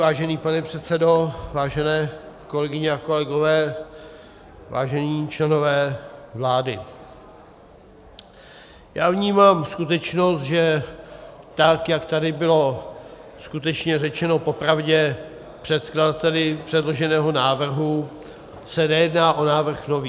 Vážený pane předsedo, vážené kolegyně a kolegové, vážení členové vlády, já vnímám skutečnost, že tak jak tady bylo skutečně řečeno popravdě předkladateli předloženého návrhu, se nejedná o návrh nový.